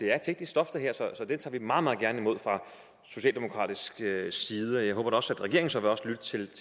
er teknisk stof så det tager vi meget meget gerne imod fra socialdemokratiets side og jeg håber da også at regeringen så vil lytte til